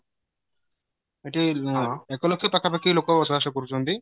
ଏଠି ଏକ ଲକ୍ଷ ପାଖା ପାଖି ଲୋକ ବସ ବାସ କରୁଚନ୍ତି